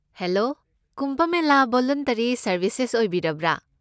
Hello, Kumbh Mela voluntary services ꯑꯣꯏꯕꯤꯔꯕ꯭ꯔꯥ?